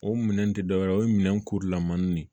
O minɛn te dɔwɛrɛ ye o ye minɛn kurulamanin de ye